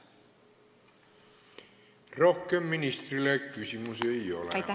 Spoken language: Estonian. Rohkem ministrile küsimusi ei ole.